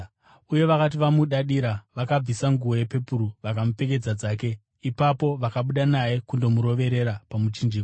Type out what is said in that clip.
Uye vakati vamudadira, vakabvisa nguo yepepuru vakamupfekedza dzake. Ipapo vakabuda naye kundomuroverera pamuchinjikwa.